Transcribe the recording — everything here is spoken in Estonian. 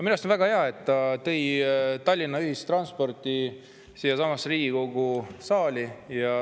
Minu arust on väga hea, et ta tõi Tallinna ühistranspordi siiasamasse Riigikogu saali.